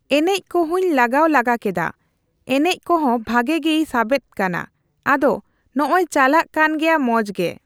ᱮᱱᱮᱡ ᱠᱚᱦᱚᱧ ᱞᱟᱜᱟᱣ ᱞᱟᱜᱟ ᱠᱮᱫᱟ ᱮᱱᱮᱡᱠᱚᱦᱚᱸ ᱵᱷᱟᱜᱤ ᱜᱤᱭ ᱥᱟᱵᱮᱫ ᱠᱟᱱᱟ ᱟᱫᱚ ᱱᱚᱜᱚᱭ ᱪᱟᱞᱟᱜ ᱠᱟᱱᱜᱮᱭᱟ ᱢᱚᱡᱜᱮ᱾